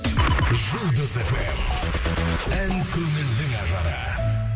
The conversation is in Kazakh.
жұлдыз фм ән көңілдің ажары